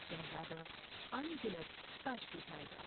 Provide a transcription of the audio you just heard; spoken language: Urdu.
شہزادہ ان گنت کشٹ اٹھاۓ گا ۔